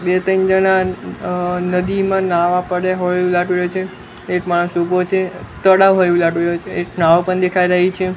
બે ત્રણ જણા અ નદીમાં નાવા પડે હોય એવુ લાગી રહ્યુ છે એક માણસ ઊભો છે તળાવ હોય એવુ લાગી રહ્યુ છે એક નાવ પણ દેખાય રહી છે.